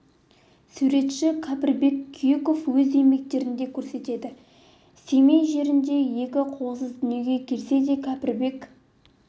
суретші кәріпбек күйіков өз еңбектерінде көрсете білді семей жерінде екі қолсыз дүниеге келсе де кәріпбек